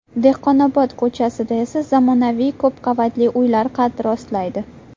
Dehqonobod ko‘chasida esa zamonaviy ko‘pqavatli uylar qad rostlaydi.